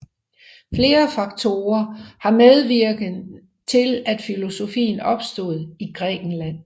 Flere faktorer har været medvirkende til at filosofien opstod i Grækenland